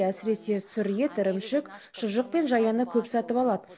әсіресе сүр ет ірімшік шұжық пен жаяны көп сатып алады